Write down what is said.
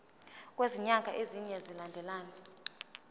kwezinyanga ezine zilandelana